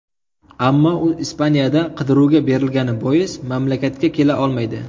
Ammo u Ispaniyada qidiruvga berilgani bois mamlakatga kela olmaydi.